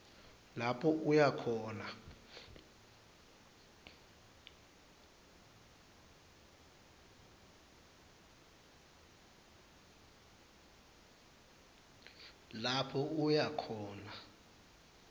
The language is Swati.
lapho uya khona